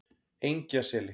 Engjaseli